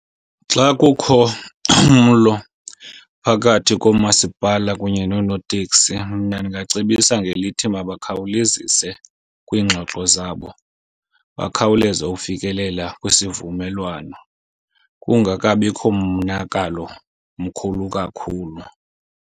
Xa kukho umlo phakathi komasipala kunye nonooteksi mna ndingacebisa ngelithi mabakhawulezise kwiingxoxo zabo, bakhawuleze ufikelela kwisivumelwano, kungeka bikho monakalo mkhulu kakhulu.